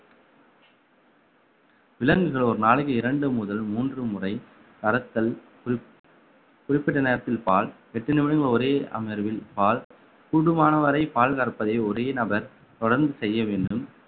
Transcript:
விலங்குகள் ஒரு நாளைக்கு இரண்டு முதல் மூன்று முறை கறத்தல் குறிப்பிட்ட நேரத்தில் பால் எட்டு நிமிடம் ஒரே அமர்வில் பால் கூடுமானவரை பால் கறப்பதை ஒரே நபர் தொடர்ந்து செய்ய வேண்டும்